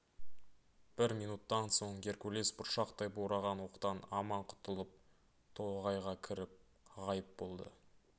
бір минуттан соң геркулес бұршақтай бораған оқтан аман құтылып тоғайға кіріп ғайып болды